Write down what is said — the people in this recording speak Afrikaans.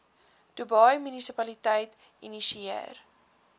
dubai munisipaliteit geïnisieer